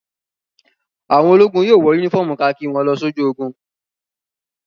Àwọn ológun yóò wọ únífọ́ọ́mù kakí wọn lọ sójú ogun.